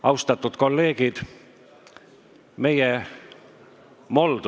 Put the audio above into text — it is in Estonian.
Austatud kolleegid!